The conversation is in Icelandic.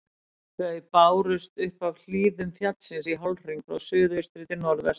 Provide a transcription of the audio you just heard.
Þau bárust upp af hlíðum fjallsins í hálfhring frá suðaustri til norðvesturs.